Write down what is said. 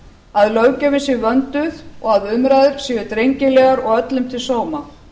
að löggjöfin sé vönduð og að umræður séu drengilegar og öllum til sóma